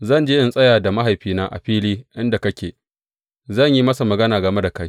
Zan je in tsaya da mahaifina a fili inda kake, zan yi masa magana game da kai.